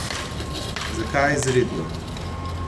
Zakaj izredno?